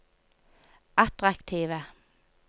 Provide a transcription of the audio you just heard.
attraktive